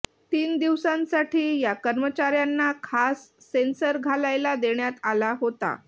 तीन दिवसांसाठी या कर्मचार्यांना खास सेंसर घालायला देण्यात आला होता